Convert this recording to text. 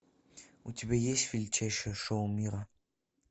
у тебя есть величайшее шоу мира